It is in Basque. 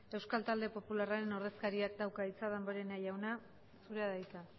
euskal talde popularraren ordezkariak dauka hitza damborenea jauna zurea da hitza